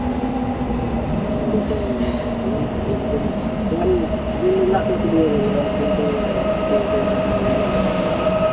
না নিলে তো হবে না game টেম বন্ধু গুলা আর কত দিবে বল একদিন তো